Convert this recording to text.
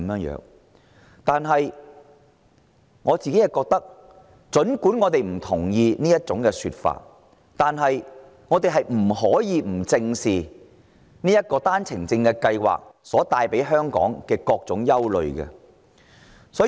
然而，儘管我們不同意這種說法，我們不得不正視單程證計劃帶給香港的各種憂慮。